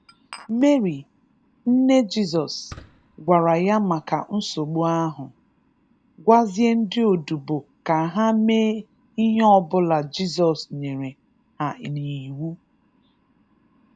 Meri, nne Jizọs, gwara Ya maka nsogbu ahụ, gwazie ndị odibo ka ha mee ihe ọbụla Jizọs nyere ha n'iwu.